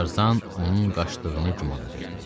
Tarzan onun qaçdığını güman edirdi.